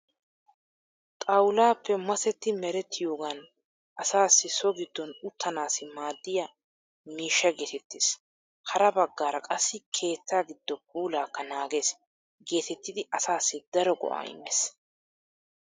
Xawullaappe masetti merettiyoogan asaassi so giddon uttanaassi maaddiya miishsha geetettees. Hara baggaara qassi keetta giddo puulaakka naagees geetettidi asaassi daro go'aa immees.